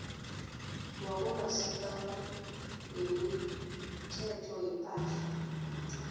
wabomasipala wemithelo yepahla